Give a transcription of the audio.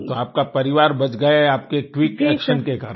तो आपका परिवार बच गया आपके क्विक एक्शन के कारण